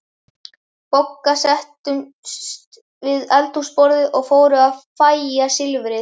Bogga settust við eldhúsborðið og fóru að fægja silfrið.